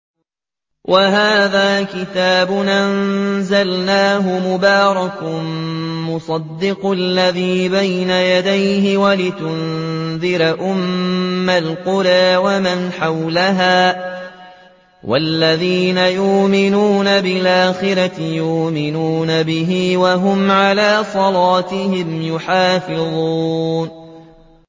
وَهَٰذَا كِتَابٌ أَنزَلْنَاهُ مُبَارَكٌ مُّصَدِّقُ الَّذِي بَيْنَ يَدَيْهِ وَلِتُنذِرَ أُمَّ الْقُرَىٰ وَمَنْ حَوْلَهَا ۚ وَالَّذِينَ يُؤْمِنُونَ بِالْآخِرَةِ يُؤْمِنُونَ بِهِ ۖ وَهُمْ عَلَىٰ صَلَاتِهِمْ يُحَافِظُونَ